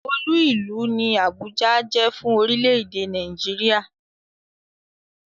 Olú ìlú ni Àbújá jẹ́ fún orílẹ̀-èdè Nàìjíríà.